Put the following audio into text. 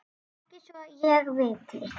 Ekki svo ég viti.